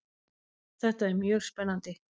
Þetta er mjög spennandi